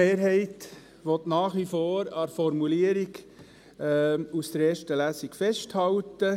Die GSoK-Mehrheit will nach wie vor an der Formulierung aus der ersten Lesung festhalten.